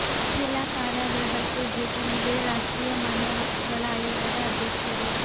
ಜಿಲ್ಲಾ ಕಾರಾಗೃಹಕ್ಕೆ ಭೇಟಿ ನೀಡಿದ ರಾಷ್ಟ್ರೀಯ ಮಾನವ ಹಕ್ಕುಗಳ ಆಯೋಗದ ಅಧ್ಯಕ್ಷರು